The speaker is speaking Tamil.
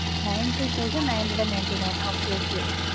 Ninety thousand nine hundred and ninety-nine okay, okay